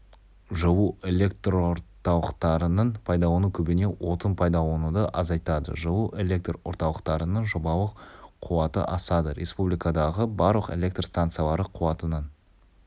жылу электрорталықтарын пайдалану көбіне отын пайдалануды азайтады жылу электр орталықтарының жобалық қуаты асады республикадағы барлық электр станциялары қуатының